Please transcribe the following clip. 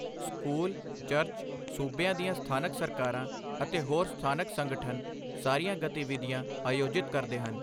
School, church, ਸੂਬਿਆਂ ਦੀਆਂ ਸਥਾਨਕ ਸਰਕਾਰਾਂ ਅਤੇ ਹੋਰ ਸਥਾਨਕ ਸੰਗਠਨ ਸਾਰੀਆਂ ਗਤੀਵਿਧੀਆਂ ਆਯੋਜਿਤ ਕਰਦੇ ਹਨ।